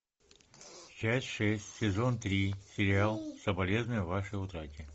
часть шесть сезон три сериал соболезную вашей утрате